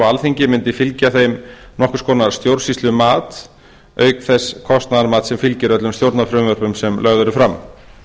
alþingi mundi fylgja þeim nokkurs konar stjórnsýslumat auk þess kostnaðarmats sem fylgir öllum stjórnarfrumvörpum sem lögð eru fram